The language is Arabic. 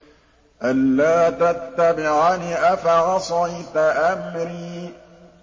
أَلَّا تَتَّبِعَنِ ۖ أَفَعَصَيْتَ أَمْرِي